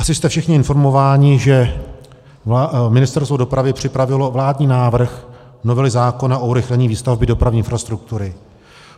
Asi jste všichni informováni, že Ministerstvo dopravy připravilo vládní návrh novely zákona o urychlení výstavby dopravní infrastruktury.